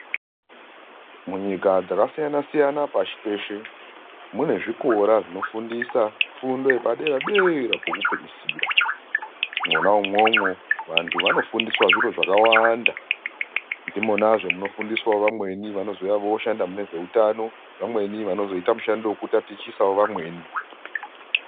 Munyika dzakasiyana siyana pashi peshe mune zvikora zvinofundisa fundo yepadera dera kwokupeisira mwona umwomwo vantu vanofundiswa zviro zvakawanda ndimwonazve munofundiswa vamweni vanozouya voshanda mune zveutano vamwenivanozoita mushando wekutatichisa vamweni.